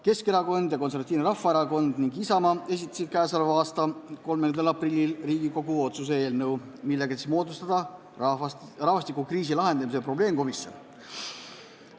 Keskerakond, Konservatiivne Rahvaerakond ning Isamaa esitasid k.a 30. aprillil Riigikogu otsuse eelnõu, millega otsustati moodustada rahvastikukriisi lahendamise probleemkomisjon.